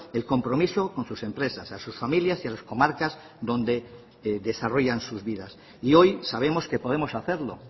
el compromiso con sus empresas a sus familias y a las comarcas donde desarrollan sus vidas y hoy sabemos que podemos hacerlo